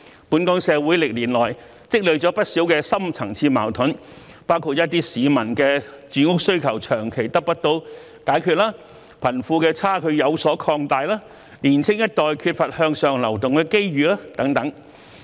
本港社會歷年來積聚了不少深層次矛盾，包括一些市民的住屋需求長期得不到解決、貧富差距有所擴大、年青一代缺乏向上流動的機遇等。